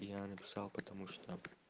и я написал потому что